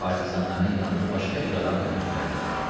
Partizanların yanına başqa bir adam da göndərmək olar.